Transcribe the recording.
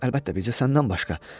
Əlbəttə, bircə səndən başqa.